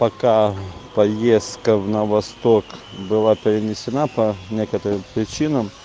пока поездка в на восток была перенесена по некоторым причинам